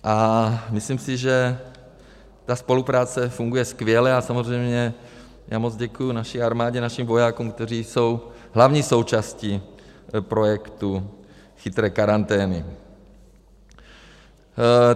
A myslím si, že ta spolupráce funguje skvěle, a samozřejmě já moc děkuji naší armádě, našim vojákům, kteří jsou hlavní součástí projektu chytré karantény.